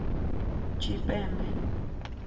tshipembe